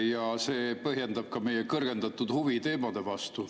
Ja see põhjendab ka meie kõrgendatud huvi teemade vastu.